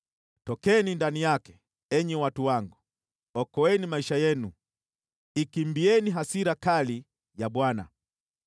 “Tokeni ndani yake, enyi watu wangu! Okoeni maisha yenu! Ikimbieni hasira kali ya Bwana .